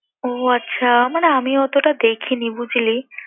ও আচ্ছা! মানে আমি অতোটা দেখি নি বুঝলি